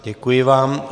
Děkuji vám.